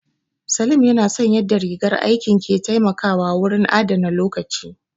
Salim ya na son yadda rigar aikin ke taimakawa wurin adana lokaci